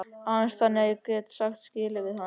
Aðeins þannig gat ég sagt skilið við hana.